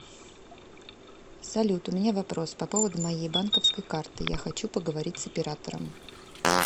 салют у меня вопрос по поводу моей банковской карты я хочу поговорить с оператором